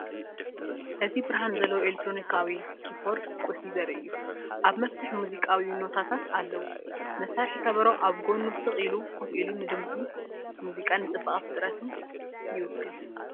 እዚ ብርሃን ዘለዎ ኤሌክትሮኒካዊ ኪቦርድ ቁልፊ ዘርኢ እዩ። ኣብ መፍትሕ ሙዚቃዊ ኖታታት ኣለዎ። መሳርሒ ከበሮ ኣብ ጎድኑ ስቕ ኢሉ ኮፍ ኢሉ ንድምጺ ሙዚቃን ንጽባቐ ፍጥረትን ይውክል።